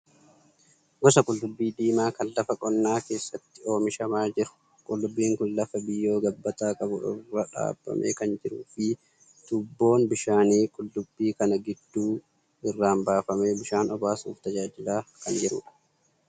Gosa qullubbii diimaa kan lafa qonnaa keessatti oomishamaa jiru. Qullubbiin kun lafa biyyoo gabbataa qabu irra dhaabamee kan jiruu fi tuubboon bishaanii qullubbii kana gidduu irraan baafamee bishaan obaasuuf tajaajilaa kan jirudha.